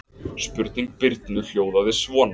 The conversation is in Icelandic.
Spurning Birnu hljóðaði svona: